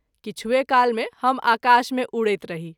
किछुए काल मे हम आकाश में उड़ैत रही।